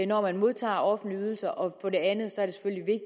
når man modtager offentlige ydelser og for det andet